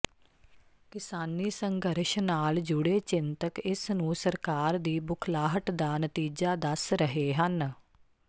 ਕਿਸਾਨੀ ਸੰਘਰਸ਼ ਨਾਲ ਜੁੜੇ ਚਿੰਤਕ ਇਸ ਨੂੰ ਸਰਕਾਰ ਦੀ ਬੁਖਲਾਹਟ ਦਾ ਨਤੀਜਾ ਦੱਸ ਰਹੇ ਹਨ